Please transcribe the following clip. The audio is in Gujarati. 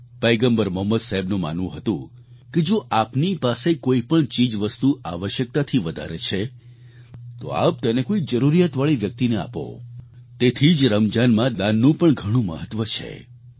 પયગમ્બર મોહમ્મદ સાહેબનું માનવું હતું કે જો આપની પાસે કોઈપણ ચીજવસ્તુ આવશ્યકતાથી વધારે છે તો આપ તેને કોઈ જરૂરિયાતવાળી વ્યક્તિને આપો તેથી જ રમજાનમાં દાનનું પણ ઘણું મહત્વ છે